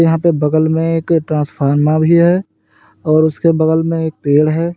यहां बगल में एक ट्रांसफार्मर भी है और उसके बगल में एक पेड़ है।